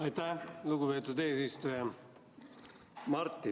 Aitäh, lugupeetud eesistuja!